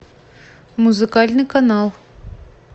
музыкальный канал